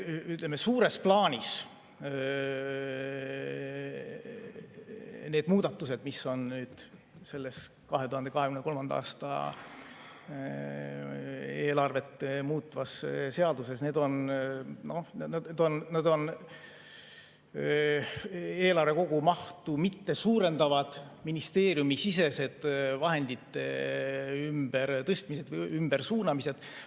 Ütleme, suures plaanis need muudatused, mis on selles 2023. aasta eelarvet muutvas seaduses, on eelarve kogumahtu mitte suurendavad ministeeriumisisesed vahendite ümbertõstmised või ümbersuunamised.